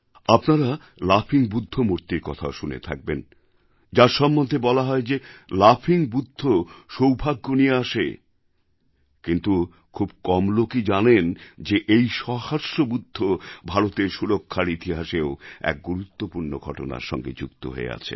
আপনারা লাফিং বুদ্ধ মূর্তির কথাও শুনে থাকবেন যার সম্বন্ধে বলা হয় যে লাফিং বুদ্ধ সৌভাগ্য নিয়ে আসে কিন্তু খুব কম লোকই জানেন যে এই সহাস্য বুদ্ধ ভারতের সুরক্ষার ইতিহাসেও এক গুরুত্বপূর্ণ ঘটনার সঙ্গে যুক্ত হয়ে আছেন